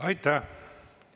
Aitäh!